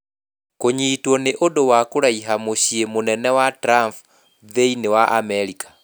Kũnyitwo nĩ ũndũ wa kũraiha mũciĩ mũnene wa Trump thĩinĩ wa Amerika